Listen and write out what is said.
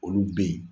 Olu bɛ yen